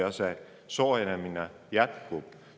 Ja see soojenemine jätkub.